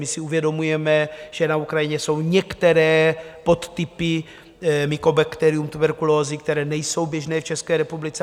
My si uvědomujeme, že na Ukrajině jsou některé podtypy Mycobacterium tuberculosis, které nejsou běžné v České republice.